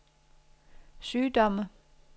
sygdomme